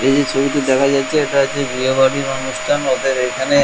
এই যে ছবিটি দেখা যাচ্ছে এটা হচ্ছে বিয়ে বাড়ির অনুষ্ঠান ওদের এখানে--